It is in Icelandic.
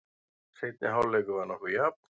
Seinni hálfleikur var nokkuð jafn.